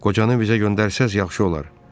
Qocanı bizə göndərsəz yaxşı olar.